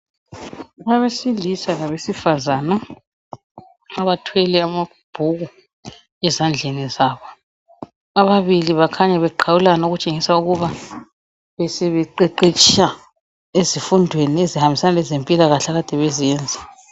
Abesilisa labesifazana abathwele amabhuku ezandleni zabo. Ababili bakhanya beqhawulana ukutshengisa ukuba besebeqeqetsha ezifundweni ezihambisana lezempilakahle akade bezenza.